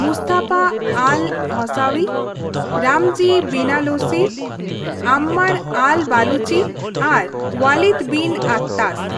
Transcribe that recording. Mustafa al Hawsawi, Ramzi bin al Shibh, Ammar al Baluchi ᱟᱨ Walid bin Attash.